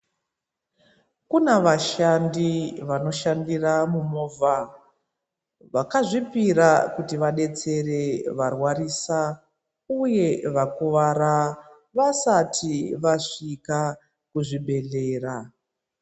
Kuna vashandi vanoshandira mumovha. Vakazvipira kuti vadetsere varwarisa uye vakuvara vasati vasvika kuzvibhedhlera.